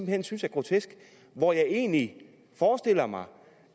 hen synes er grotesk og hvor jeg egentlig forestiller mig